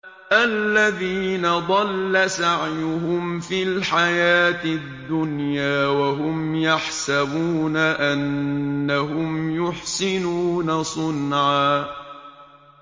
الَّذِينَ ضَلَّ سَعْيُهُمْ فِي الْحَيَاةِ الدُّنْيَا وَهُمْ يَحْسَبُونَ أَنَّهُمْ يُحْسِنُونَ صُنْعًا